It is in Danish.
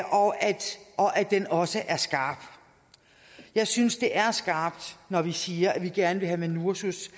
det også er skarpt jeg synes det er skarpt når vi siger at vi gerne vil have minursos